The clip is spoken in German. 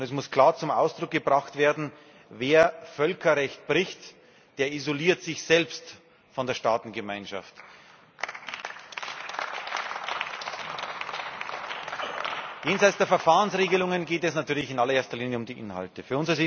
Es muss klar zum Ausdruck gebracht werden Wer Völkerrecht bricht, der isoliert sich selbst von der Staatengemeinschaft. Jenseits der Verfahrensregelungen geht es natürlich in allererster Linie um die Inhalte.